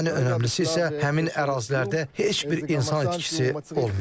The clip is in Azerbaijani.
Ən önəmlisi isə həmin ərazilərdə heç bir insan itkisi olmayıb.